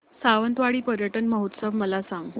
सावंतवाडी पर्यटन महोत्सव मला सांग